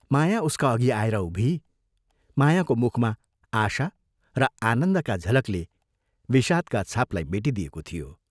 माया उसका अघि आएर उभिई मायाको मुखमा आशा र आनन्दका झलकले विषादका छापलाई मेटिदिएको थियो।